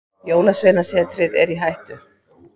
Jólasveinasetrið er í hættu.